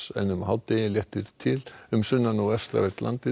en um hádegi léttir til um sunnan og vestanvert landið